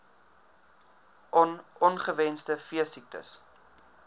on ongewenste veesiektes